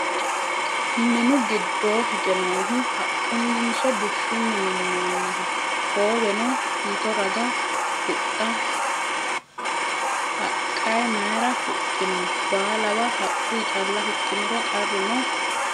Minu giddoo hige noohu haqquninso bushshunni minnoniho? Hooweno mito raga huxxa haqqayi mayiira hoxxinoyi? Baalawa haqquyi calla huxxiniro qarru noo?